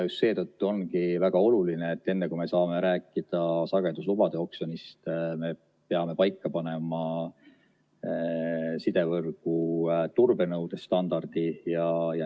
Just seetõttu ongi väga oluline, et enne, kui me saame rääkida sageduslubade oksjonist, peame paika panema sidevõrgu turbenõude standardid.